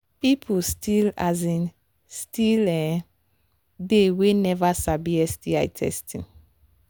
people still um still um they we never sabi sti testing